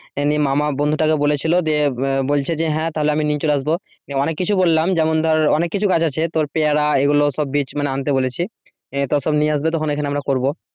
মামা বন্ধুটাকে বলেছিল দিয়ে বলছে যে হ্যাঁ তাহলে আমি নিয়ে চলে আসব অনেক কিছু বললাম যেমন ধর অনেক কিছু গাছ আছে তোর পেয়ারা এগুলো সব বীজ মানে আনতে বলেছি আহ তো সব নিয়ে আসবে তখন এখানে আমরা করবো।